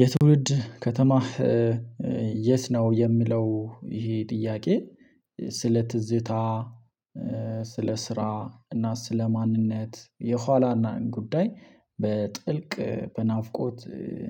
የትውልድ ከተማህ የት ነው የሚለው? ይሄ ጥያቄ ስለ ትዝታ ስለ ስራ እና ስለ ማንነት የኋላየን ጉዳይ በጥልቅ በናፍቆት